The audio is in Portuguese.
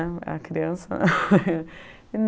Eu era criança.